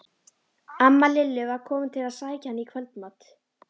Amma Lillu var komin til að sækja hana í kvöldmat.